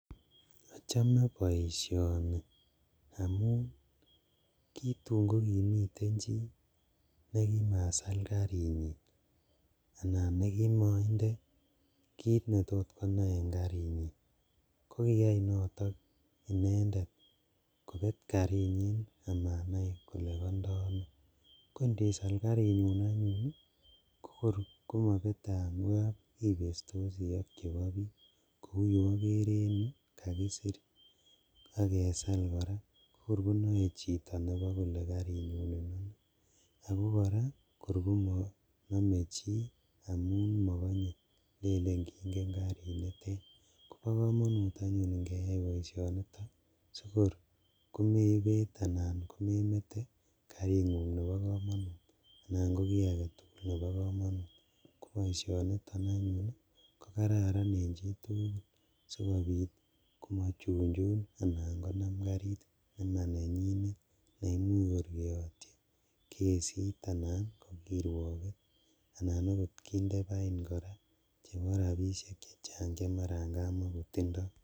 Ochome boisioni amun kotun kokimiten chi nekimasal karinyin anan nekimoinde kit netot konae karinyin kokiyai noton inendet kobet karinyin amanai kole kondoo ono, kondisal karingung anyun ii ko kor konobete angap ibestosi ok chebo bik kou ye ikere en yu kakisir ak kesal koraa kokor konoe chito nebo kole karini konenyun , ako koraa kor komonome chi amun mokonye lelen kingen karinitet kobokomonut anyun ingeyai boisioniton sikor komebet anan komenete karingung nebo komonut anan koki aketugul nebo komonut, koboishoniton anyun ko kararan en chitugul sikobit komochunchun anan konam karit nemanenyinet neimuch kor ketotyi kesit anan ko kiruoket anan okot kinde bain koraa chebo rabishek chechang chemaran kamakotindo.